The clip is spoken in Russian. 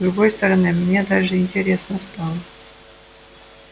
с другой стороны мне даже интересно стало